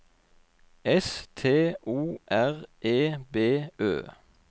S T O R E B Ø